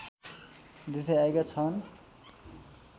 दिँदै आएका छन्